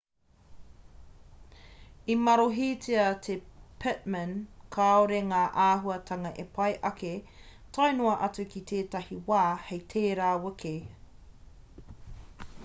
i marohitia e pittman kāore ngā āhuatanga e pai ake tae noa atu ki tētahi wā hei tērā wiki